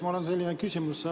Mul on selline küsimus.